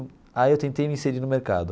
Aí eu tentei me inserir no mercado.